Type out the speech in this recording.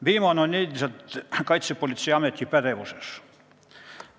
Viimane on endiselt Kaitsepolitseiameti pädevuses.